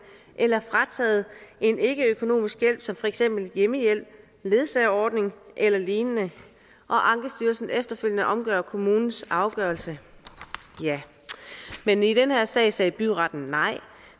eller frataget en ikkeøkonomisk hjælp som for eksempel hjemmehjælp ledsagerordning eller lignende og ankestyrelsen efterfølgende omgør kommunens afgørelse ja men i den her sag sagde byretten nej